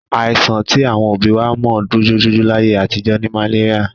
Àìsàn tí àwọn òbí wa mọ̀ dunjúdunjú láyé àtijọ́ ni màléríà.